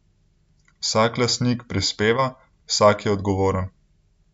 Vsak lastnik prispeva, vsak je odgovoren.